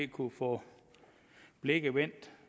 kunne få blikket vendt